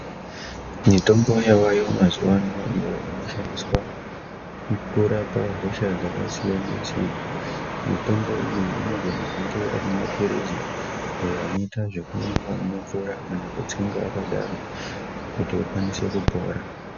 Mitombo yavayo mazuwa ano, iyo inoshandiswa kurapa hosha dzakasiyana-siyana. Mitombo iyi inogona kunge ari mapiritsi ayo anoita ekumwiwa nemvura kana kutsenga akadaro kuti ukwanise kupora